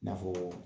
I n'a fɔ